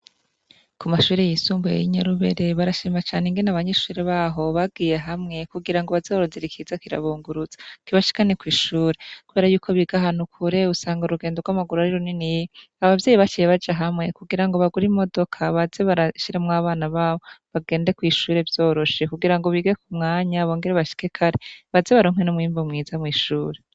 Ku mashuri yisumbuye y'inyarubere barashima cane ingene abanyishure baho bagiye hamwe kugira ngo bazorozi rikiza kirabunguruza kibashikane kw'ishure kbera yuko bigahantu ukure usanga urugendo rw'amaguru ari runini yi abavyeyi baciye baja hamwe kugira ngo bagura imodoka baze barashiramw abana babo bagende kw'ishure vyoroshe kugira ngo bigekumwe mwanya bongere bashike kare baze baromkwe no mwimvu mwiza mw'ishure.